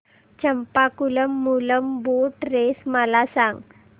Champakulam Moolam boat race मला सांग